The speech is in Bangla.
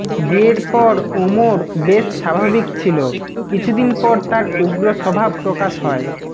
বিয়ের পর ওমর বেশ স্বাভাবিক ছিল কিছুদিন পর তার উগ্র স্বভাব প্রকাশ হয়